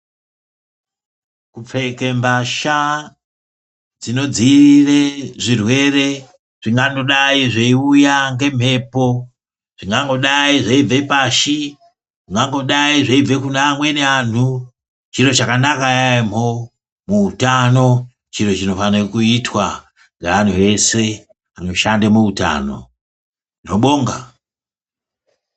Kupfeke mbasha dzinodziirira zvirwere zvingangodai zveiuya ngemhepo, zvingangodai zveibva pasi. Zvingangodai zveibva kune amweni antu . Chiro chakanaka yaamho. Muutano chiro chinofanirwa kuitwa ngeantu eshe anoshanda muutano. Ndinobonga.